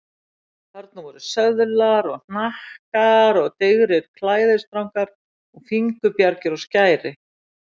Þarna voru söðlar og hnakkar og digrir klæðisstrangar og fingurbjargir og skæri.